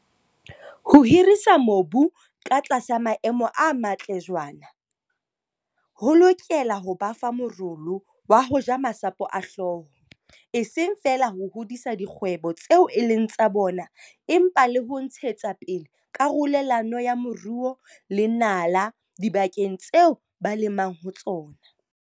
Ho hirisa mobu katlasa maemo a matle jwaana ho lokela ho ba fa morolo wa ho ja masapo a hlooho, e seng feela ho hodisa dikgwebo tseo e leng tsa bona empa le ho ntshetsapele karolelano ya moruo le nala dibakeng tseo ba lemang ho tsona.